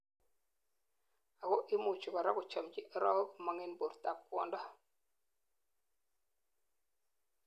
ako imuchi korak kochomji arowek komong en bortab kwondo